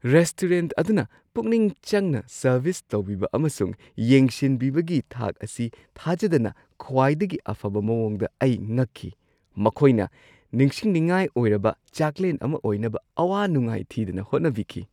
Restaurant ꯑꯗꯨꯅ ꯄꯨꯛꯅꯤꯡ ꯆꯪꯅ ꯁꯔꯚꯤꯁ ꯇꯧꯕꯤꯕ ꯑꯃꯁꯨꯡ ꯌꯦꯡꯁꯤꯟꯕꯤꯕꯒꯤ ꯊꯥꯛ ꯑꯁꯤ ꯊꯥꯖꯗꯅ ꯈ꯭ꯋꯥꯏꯗꯒꯤ ꯑꯐꯕ ꯃꯑꯣꯡꯗ ꯑꯩ ꯉꯛꯈꯤ; ꯃꯈꯣꯏꯅ ꯅꯤꯡꯁꯤꯟꯅꯤꯡꯉꯥꯏ ꯑꯣꯏꯔꯕ ꯆꯥꯛꯂꯦꯟ ꯑꯃ ꯑꯣꯏꯅꯕ ꯑꯋꯥ ꯅꯨꯡꯉꯥꯏ ꯊꯤꯗꯅ ꯍꯣꯠꯅꯕꯤꯈꯤ꯫